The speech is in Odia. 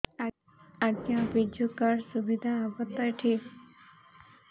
ଆଜ୍ଞା ବିଜୁ କାର୍ଡ ସୁବିଧା ହବ ତ ଏଠି